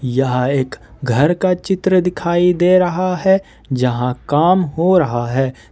यह एक घर का चित्र दिखाई दे रहा है जहां काम हो रहा है।